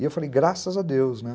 E eu falei, graças a Deus, né?